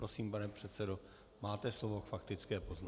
Prosím, pane předsedo, máte slovo k faktické poznámce.